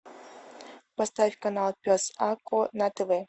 поставь канал пес а ко на тв